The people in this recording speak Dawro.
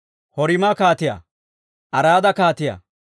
Horima kaatiyaa, Araada kaatiyaa,